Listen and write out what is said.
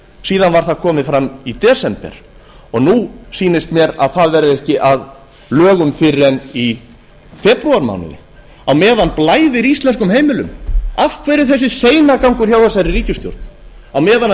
síðan var það komið fram í desember og nú sýnist mér að það verði ekki að lögum fyrr en í febrúarmánuði á meðan blæðir íslenskum heimilum af hverju þessi seinagangur hjá þeirri ríkisstjórn á meðan